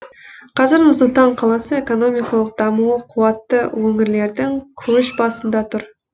қазір нұр сұлтан қаласы экономикалық дамуы қуатты өңірлердің көш басында тұр